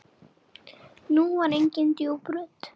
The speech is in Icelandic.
Nú var engin djúp rödd.